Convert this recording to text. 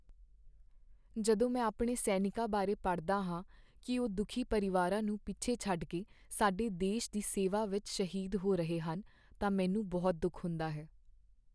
ਜਦੋਂ ਮੈਂ ਆਪਣੇ ਸੈਨਿਕਾਂ ਬਾਰੇ ਪੜ੍ਹਦਾ ਹਾਂ ਕਿ ਉਹ ਦੁੱਖੀ ਪਰਿਵਾਰਾਂ ਨੂੰ ਪਿੱਛੇ ਛੱਡ ਕੇ ਸਾਡੇ ਦੇਸ਼ ਦੀ ਸੇਵਾ ਵਿੱਚ ਸ਼ਹੀਦ ਹੋ ਰਹੇ ਹਨ ਤਾਂ ਮੈਨੂੰ ਬਹੁਤ ਦੁੱਖ ਹੁੰਦਾ ਹੈ।